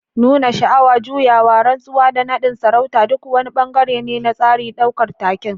Nuna sha'awa, juyawa, rantsuwa, da nadin sarauta duk wani bangare ne na tsarin daukar taken.